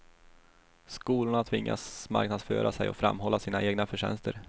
Skolorna tvingas marknadsföra sig och framhålla sina egna förtjänster.